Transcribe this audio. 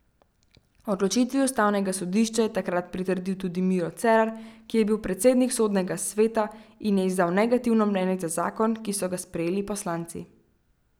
Odločitvi ustavnega sodišča je takrat pritrdil tudi Miro Cerar, ki je bil predsednik sodnega sveta in je izdal negativno mnenje za zakon, ki so ga sprejeli poslanci.